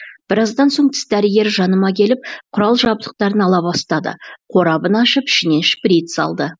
біраздан соң тіс дәрігері жаныма келіп құрал жабдықтарын ала бастады қорабын ашып ішінен шприц алды